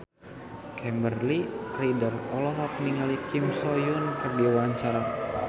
Kimberly Ryder olohok ningali Kim So Hyun keur diwawancara